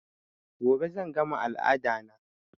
Gobe zan gama al'ada na